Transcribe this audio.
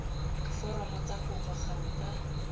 diforomo tsa kopo gangwe ka